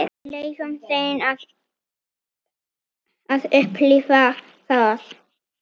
Leyfum þeim að upplifa það.